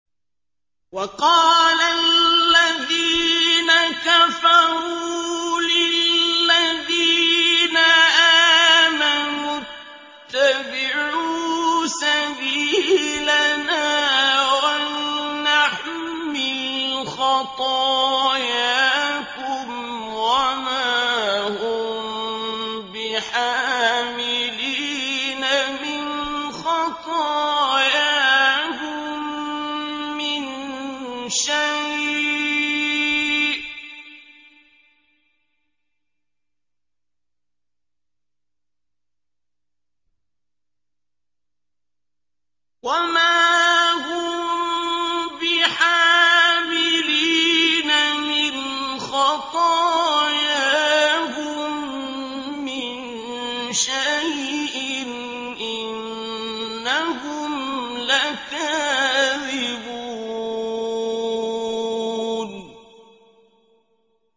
وَقَالَ الَّذِينَ كَفَرُوا لِلَّذِينَ آمَنُوا اتَّبِعُوا سَبِيلَنَا وَلْنَحْمِلْ خَطَايَاكُمْ وَمَا هُم بِحَامِلِينَ مِنْ خَطَايَاهُم مِّن شَيْءٍ ۖ إِنَّهُمْ لَكَاذِبُونَ